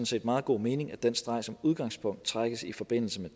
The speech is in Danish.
set meget god mening at den streg som udgangspunkt trækkes i forbindelse med